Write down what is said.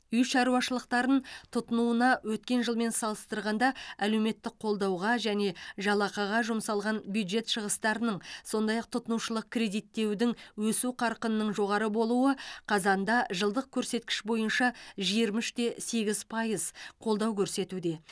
үй шаруашылықтарын тұтынуына өткен жылмен салыстырғанда әлеуметтік қолдауға және жалақыға жұмсалған бюджет шығыстарының сондай ақ тұтынушылық кредиттеудің өсу қарқынының жоғары болуы қазанда жылдық көрсеткіш бойынша жиырма үште сегіз пайыз қолдау көрсетуде